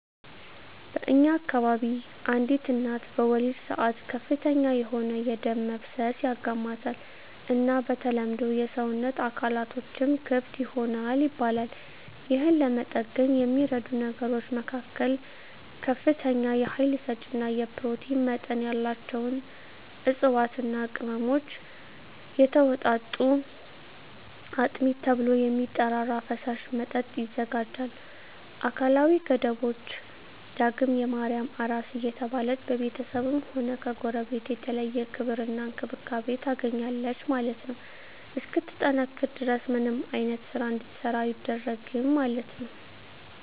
በእኛ አከባቢ አንዲት እናት በወሊድ ሰአት ከፍተኛ የሆነ የደም መፍሰስ ያጋማታል እና በተለምዶ የሰወነት አካላትቶችም ክፍት ይሆናል ይባላል የህን ለመጠገን የሚደረጉ ነገሮች መካከል ከፍተኛ የሀይል ሰጪ እና የኘሮቲን መጠን ያላቸውን እፅዋትና ቅመሞች የተወጣጡ አጥሚት ተብሎ የሚጠራራ ፈሳሽ መጠጥ ይዘጋጃል አካላዊ ገደቦች ደግም የማርያም አራስ እየተባለች በቤተስብም ሆነ ከጎረቤት የተለየ ክብር እና እንክብካቤ ታገኛለች ማለት ነው እስክትጠነክር ድረስ ምንም አይነት ስራ እንድትሰራ አይደረግም ማለት ነው።